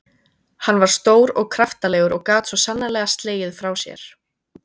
Hann var stór og kraftalegur og gat svo sannarlega slegið frá sér.